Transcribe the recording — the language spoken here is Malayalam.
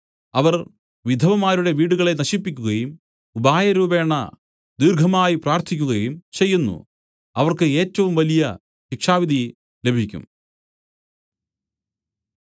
അവർ വിധവമാരുടെ വീടുകളെ നശിപ്പിക്കുകയും ഉപായരൂപേണ ദീർഘമായി പ്രാർത്ഥിക്കുകയും ചെയ്യുന്നു അവർക്ക് ഏറ്റവും വലിയ ശിക്ഷാവിധി ലഭിക്കും